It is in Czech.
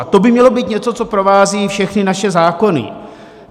A to by mělo být něco, co provází všechny naše zákony.